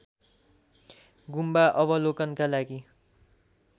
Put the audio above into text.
गुम्बा अवलोकनका लागि